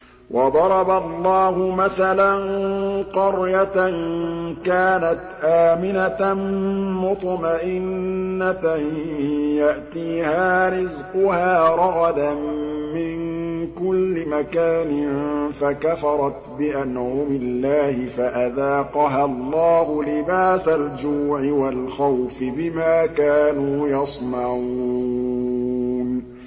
وَضَرَبَ اللَّهُ مَثَلًا قَرْيَةً كَانَتْ آمِنَةً مُّطْمَئِنَّةً يَأْتِيهَا رِزْقُهَا رَغَدًا مِّن كُلِّ مَكَانٍ فَكَفَرَتْ بِأَنْعُمِ اللَّهِ فَأَذَاقَهَا اللَّهُ لِبَاسَ الْجُوعِ وَالْخَوْفِ بِمَا كَانُوا يَصْنَعُونَ